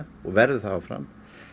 og verður það áfram